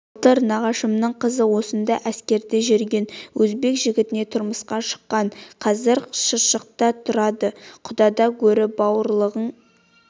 былтыр нағашымның қызы осында әскерде жүрген өзбек жігітіне тұрмысқа шыққан қазір шыршықта тұрады құдадан гөрі бауырлығың